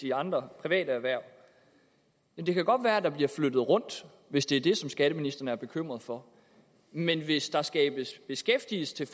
i andre private erhverv det kan godt være at der bliver flyttet rundt hvis det er det skatteministeren er bekymret for men hvis der skabes beskæftigelse til